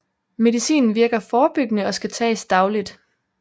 Medicinen virker forebyggende og skal tages dagligt